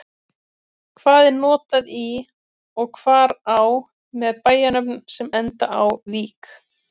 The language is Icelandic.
Hvar er notað í og hvar á með bæjarnöfnum sem enda á-vík?